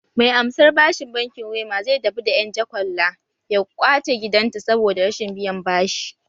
Mai amsar bashin bankin wema zai tafi da ƴan jakwalla ya kwace gidanta saboda rashin biyan bashi